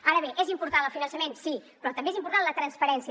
ara bé és important el finançament sí però també és important la transparència